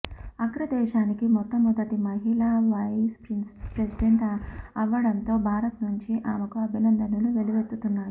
అగ్రదేశానికి మొట్ట మొదటి మహిళా వైస్ ప్రెసిండెంట్ అవ్వడంతో భారత్ నుంచి ఆమెకు అభినందనలు వెల్లువెత్తుతున్నాయి